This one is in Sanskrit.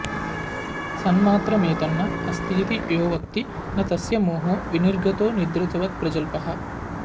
सन्मात्रमेतन्न अस्तीति यो वक्ति न तस्य मोहो विनिर्गतो निद्रितवत्प्रजल्पः